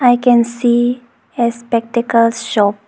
I can see a spectacle shop.